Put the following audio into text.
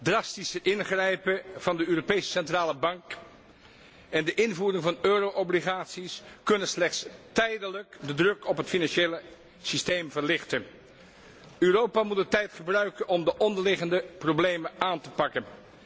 Drastisch ingrijpen van de Europese Centrale Bank en de invoering van euro obligaties kunnen slechts tijdelijk de druk op het financiële systeem verlichten. Europa moet de tijd gebruiken om de onderliggende problemen aan te pakken.